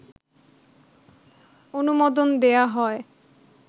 অনুমোদন দেয়া হয়